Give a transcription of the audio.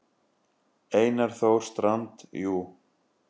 Einar Þór Strand: Jú.